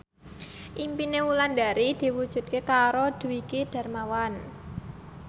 impine Wulandari diwujudke karo Dwiki Darmawan